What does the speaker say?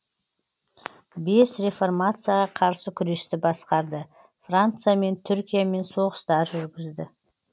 бес реформацияға қарсы күресті басқарды франциямен түркиямен соғыстар жүргізді